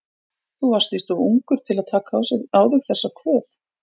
Þú varst víst of ungur til að taka á þig þessa kvöð.